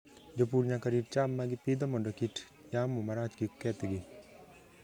Jopur nyaka rit cham ma gipidho mondo kit yamo marach kik kethgi.